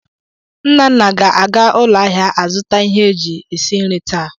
Nnanna ga-aga ụlọ ahịa azụta ihe eji esi nri taa.